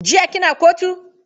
Jiya kina kotu?